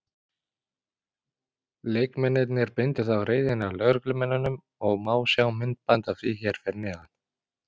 Leikmennirnir beindu þá reiðinni að lögreglumönnunum og má sjá myndband af því hér fyrir neðan.